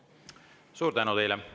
Suur tänu teile!